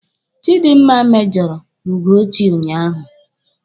Chidinma mèjọ̀rọ̀ Ugochi unyaahụ.